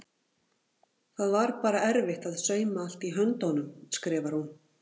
Það var bara erfitt að sauma allt í höndunum skrifar hún.